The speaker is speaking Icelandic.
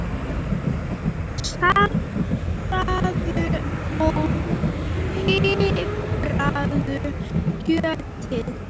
Saltaðu og pipraðu kjötið.